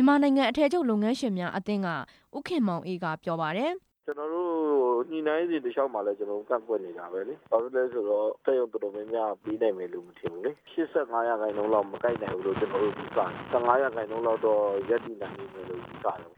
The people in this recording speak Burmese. န်မာနိုင်ငံ အထည်ချုပ်လုပ်ငန်း ရှင်များအသင်းအဖွဲ့ဝင် ဦးခင်မောင်အေးက ပြောပါတယ်။ "ညှိနှိုင်းစဉ်တလျှောက်မှာလည်း ကျနော်တို့ကန့်ကွက်နေတာပဲလေ၊ ဘာဖြစ်လို့လဲဆိုတော့ စက်ရုံတော်တော် များများက ပေးနိုင်မည်မထင်ဘူးလေ၊ ၈၅ ရာခိုင်နှုန်းလောက် မကိုက်နိုင်ဘူးလို့ ကျနော်တို့ယူဆတယ်၊ ၁၅ ရာခိုင်နှုန်းလောက် ရပ်တည်နိုင်မယ်လို့ ယူဆတယ်"